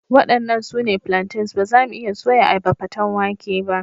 Waɗannan su ne plantains, ba za mu iya soya ayaba paten wake ba.